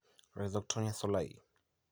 Rhizoctonia solai